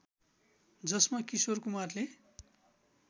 जसमा किशोर कुमारले